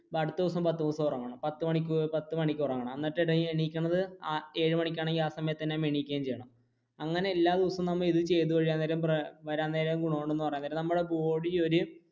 അടുത്ത ദിവസം പത്തു ദിവസം ഉറങ്ങണം പത്തു മണിക്ക് ഉറങ്ങണം, എന്നിട്ട് എഴുന്നേൽക്കുന്നത് ഏഴു മണിക്കാണെങ്കിൽ ആ സമയത്തു തന്നെ എണീക്കുകയും ചെയ്യണം. അങ്ങനെ എല്ലാ ദിവസവും നമ്മൾ ഇത് ചെയ്തു കഴിയാൻ നേരം